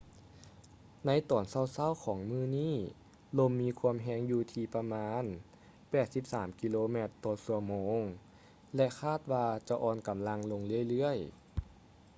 ໃນຕອນເຊົ້າໆຂອງມື້ນີ້ ລົມມີຄວາມແຮງຢູ່ທີ່ປະມານ 83 ກິໂລແມັດ/ຊົ່ວໂມງ ແລະ ຄາດວ່າຈະອ່ອນກຳລັງລົງເລື້ອຍໆ